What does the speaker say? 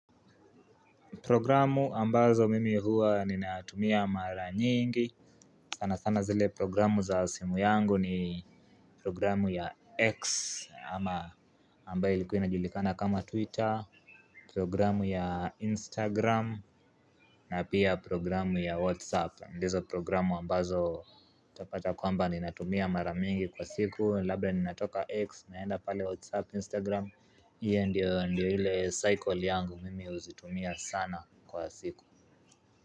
Programu ambazo mimi huwa ninatumia mara nyingi, sanasana zile programu za simu yangu ni programu ya X ama ambayo ilikuina julikana kama twitter, programu ya instagram na pia programu ya whatsapp ndizo programu ambazo utapata kwamba ninatumia mara mingi kwa siku, labda ninatoka X naenda pale whatsapp, instagram. Hio ndio ndio ile cycle yangu mimi huzitumia sana kwa siku.